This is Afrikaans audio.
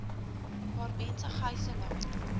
waar mense gyselaar